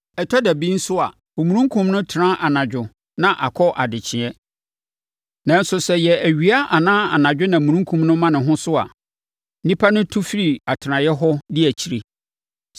Ɛtɔ da bi nso a, omununkum no tena anadwo na akɔ adekyeeɛ. Nanso sɛ ɛyɛ awia anaa anadwo na omununkum no ma ne ho so a, nnipa no tu fi atenaeɛ hɔ di akyi.